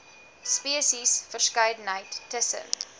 spesies verskeidenheid tussen